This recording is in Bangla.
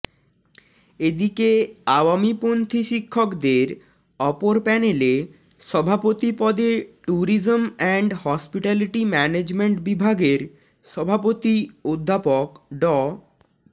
এদিকে আওয়ামীপন্থী শিক্ষকদের অপর প্যানেলে সভাপতি পদে ট্যুরিজম অ্যান্ড হসপিটালিটি ম্যানেজম্যান্ট বিভাগের সভাপতি অধ্যাপক ড